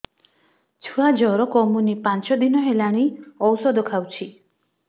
ଛୁଆ ଜର କମୁନି ପାଞ୍ଚ ଦିନ ହେଲାଣି ଔଷଧ ଖାଉଛି